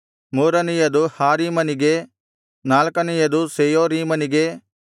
ಮೂರನೆಯದು ಹಾರೀಮನಿಗೆ ನಾಲ್ಕನೆಯದು ಸೆಯೋರೀಮನಿಗೆ